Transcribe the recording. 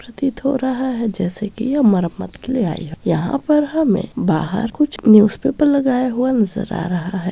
प्रतीत हो रहा है जैसे की यह मरम्मत के लिए आई है यहाँ पर हमें बाहर कुछ न्यूजपेपर लगाया हुआ नजर आ रहा है।